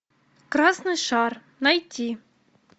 красный шар найти